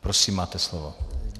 Prosím, máte slovo.